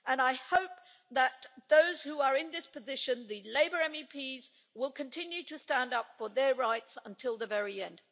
I hope that for those who are in this position, the Labour MEPs will continue to stand up for their rights until the very end.